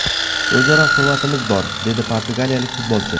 O‘zaro hurmatimiz bor”, – dedi portugaliyalik futbolchi.